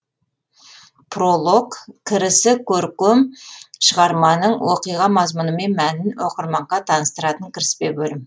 пролог кірісі көркем шығарманың оқиға мазмұнымен мәнін оқырманға таныстыратын кіріспе бөлім